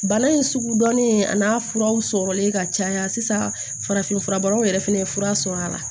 Bana in sugu dɔnnen a n'a furaw sɔrɔlen ka caya sisan farafin fura bɔra fana ye fura sɔrɔ a la